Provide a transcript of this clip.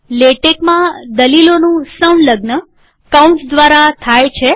લેટેકમાં દલીલોનું સંલગ્ન કૌંસ દ્વારા થાય છે